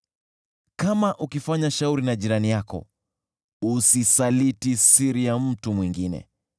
Kama ukifanya shauri na jirani yako, usisaliti siri ya mtu mwingine,